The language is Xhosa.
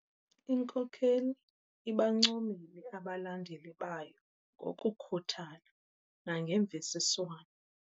Inkokeli ibancomile abalandeli bayo ngokukhuthala nangemvisiswano.